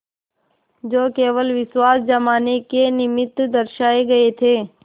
जो केवल विश्वास जमाने के निमित्त दर्शाये गये थे